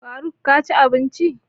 Faruk ka ci abinci?